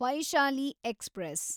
Vaishali express